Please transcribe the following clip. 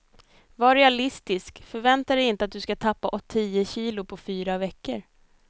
Var realistisk, förvänta dig inte att du ska tappa tio kilo på fyra veckor.